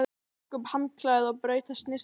Tók upp handklæðið og braut það snyrtilega saman.